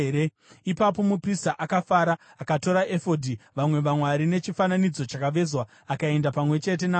Ipapo muprista akafara. Akatora efodhi, vamwe vamwari nechifananidzo chakavezwa akaenda pamwe chete navanhu.